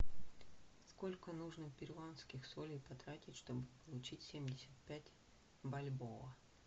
сколько нужно перуанских солей потратить чтобы получить семьдесят пять бальбоа